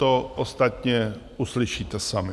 To ostatně uslyšíte sami.